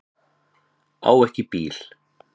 Á ekki bíl